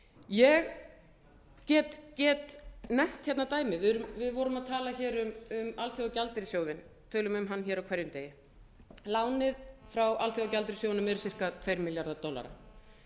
ég get nefnt hérna dæmi við vorum að tala hér um alþjóðagjaldeyrissjóðinn tölum um hann hér á hverjum degi lánið frá alþjóðagjaldeyrissjóðnum er ca tveir milljarðar dollara